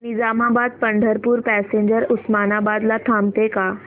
Nizamabad Pandharpur passenger Osmanabad ला थांबते का